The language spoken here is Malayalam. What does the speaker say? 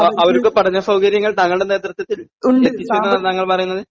അവര്ക്ക് പഠനസൗകര്യങ്ങൾ താങ്കളുടെ നേതൃത്വത്തിൽ ലഭിച്ചെന്ന് താങ്കൾ പറയുന്നത്?